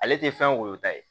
Ale tɛ fɛn woyota ye